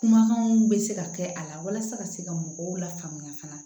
Kumakanw bɛ se ka kɛ a la walasa ka se ka mɔgɔw lafaamuya fana